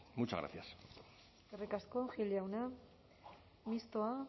muchas gracias eskerrik asko gil jauna mistoa